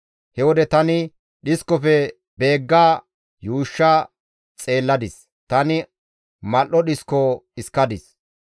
He wode tani dhiskofe beeggada yuushsha xeelladis; tani mal7o dhisko dhiskadis.